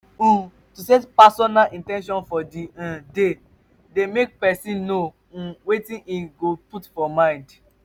um to set personal in ten tions for di um day de make persin know um wetin im go put mind for